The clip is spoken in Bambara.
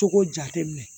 Cogo jate minɛ